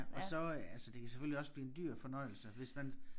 Og så øh ja så det kan selvfølgelig også blive en dyr fornøjelse hvis man